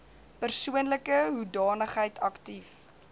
persoonlike hoedanigheid aktief